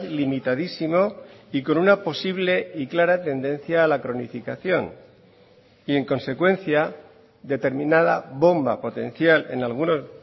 limitadísimo y con una posible y clara tendencia a la cronificación y en consecuencia determinada bomba potencial en algunos